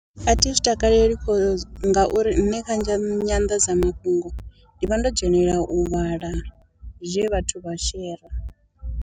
A thi zwi takaleli cos ngauri nṋe kha nzha kha nyanḓadzamafhungo ndi vha ndo dzhenela u vhala zwe vhathu vha shera.